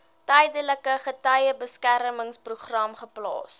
tydelike getuiebeskermingsprogram geplaas